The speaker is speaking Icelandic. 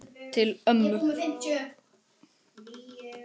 Til ömmu.